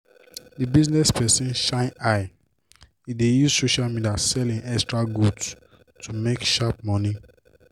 the business person shine eye! e dey use social media sell hin extra goods to make sharp money.